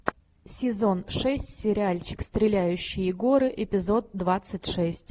сезон шесть сериальчик стреляющие горы эпизод двадцать шесть